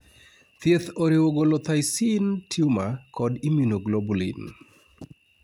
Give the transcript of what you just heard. thieth oriwo golo thymic tumor kod immunoglobulin